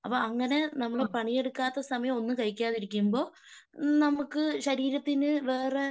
അപ്പൊ അങ്ങനെ നമ്മൾ പണിയെടുക്കാത്ത സമയം ഒന്നും കഴിക്കാതിരിക്കുമ്പോ നമുക്ക് ശരീരത്തിനു വേറെ